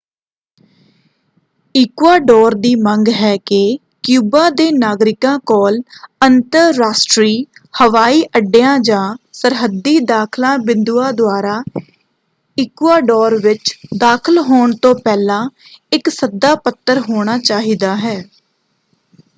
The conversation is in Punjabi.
ਇਕੂਆਡੋਰ ਦੀ ਮੰਗ ਹੈ ਕਿ ਕਿਊਬਾ ਦੇ ਨਾਗਰਿਕਾਂ ਕੋਲ ਅੰਤਰਰਾਸ਼ਟਰੀ ਹਵਾਈ ਅੱਡਿਆਂ ਜਾਂ ਸਰਹੱਦੀ ਦਾਖਲਾ ਬਿੰਦੂਆਂ ਦੁਆਰਾ ਇਕੂਆਡੋਰ ਵਿੱਚ ਦਾਖਲ ਹੋਣ ਤੋਂ ਪਹਿਲਾਂ ਇੱਕ ਸੱਦਾ ਪੱਤਰ ਹੋਣਾ ਚਾਹੀਦਾ ਹੈ।